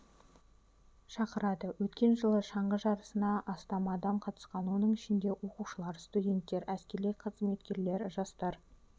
шақырады өткен жылы шаңғы жарысына астам адам қатысқан оның ішінде оқушылар студенттер әскери қызметкерлер жастар